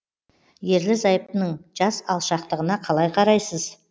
ерлі зайыптының жас алшақтығына қалай қарайсыз